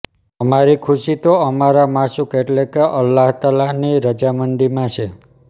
અમારી ખુશી તો અમારા માશૂક એટલે અલ્લાહ તઆલાની રઝામંદીમાં છે